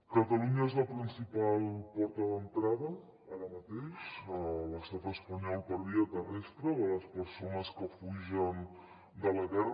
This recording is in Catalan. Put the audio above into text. catalunya és la principal porta d’entrada ara mateix a l’estat espanyol per via terrestre de les persones que fugen de la guerra